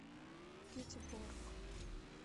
гетеборг